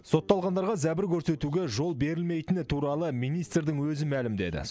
сотталғандарға зәбір көрсетуге жол берілмейтіні туралы министрдің өзі мәлімдеді